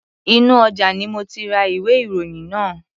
Inú ọjà ni mo ti ra ìwé-ìròyìn yìí.